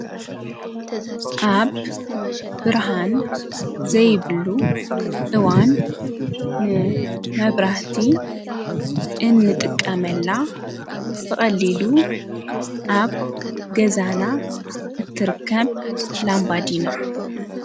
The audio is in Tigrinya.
ኣብ ብርሃን ዘይብሉ እዋን መብራህቲ እንጥቀመላ ብቐሊሉ ኣብ ገዛና እትርከብ ላምባዲና።